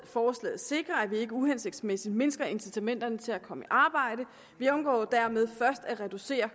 forslaget sikrer at vi ikke uhensigtsmæssigt mindsker incitamenterne til at komme i arbejde og vi undgår dermed først at reducere